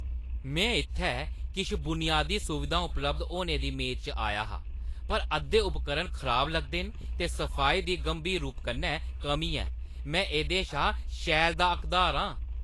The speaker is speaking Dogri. "में इत्थै किश बुनियादी सुविधां उपलब्ध होने दी मेदा च आया हा, पर अद्धे उपकरण खराब लगदे न, ते सफाई दी गंभीर रूप कन्नै कमी ऐ। में एह्दे शा शैल दा हकदार आं। "